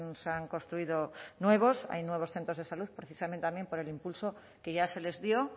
se han construido nuevos hay nuevos centros de salud precisamente también por el impulso que ya se les dio